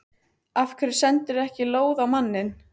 Af hverju sendirðu ekki lóð á manninn?